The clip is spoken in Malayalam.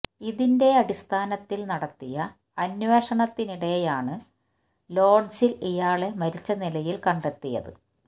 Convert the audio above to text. ഇതിന്റെ അടിസ്ഥാനത്തില് നടത്തിയ അന്വേഷണത്തിനിടെയാണ് ലോഡ്ജില് ഇയാളെ മരിച്ച നിലയില് കണ്ടെത്തിയത്